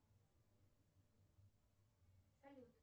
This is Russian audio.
салют